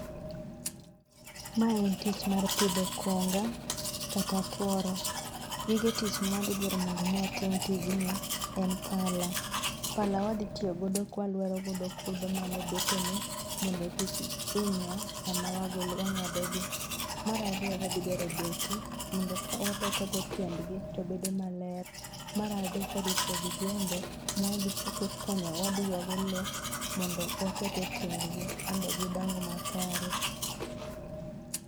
Mae en tich mar pidho konga kata tuoro. Gige tich mawadhi dwaro mondo watim tijni en pala. Pala wadhi tiyo godo ka walwero godo kudho man e bethene mondo kik hinywa sama wang'adogi. Mar ariyo wadhi dwaro beti mondo kawabetogo tiendgi to bedo maler. Mar adek wadhi tiyo gi jembe ma wadhi yuago lowo mondo waket etiendgi mondo gidong makare.